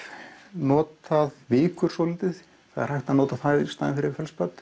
notað vikur svolítið það er hægt að nota það í staðinn fyrir